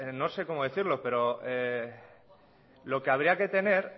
no sé cómo decirlo pero lo que habría que tener